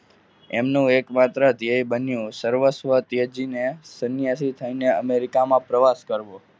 એમનો એકમાત્ર ધ્યેય બન્યો સર્વ સ્ત્ર તેજીને સંન્યાસી થઈને America માં પ્રવાસ કરવો.